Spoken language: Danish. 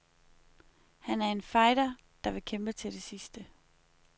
Han er en fighter, der vil kæmpe til det sidste.